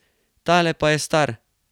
Tale pa je star.